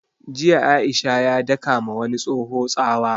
Jiya Aisha ya daka ma wani tsoho tsawa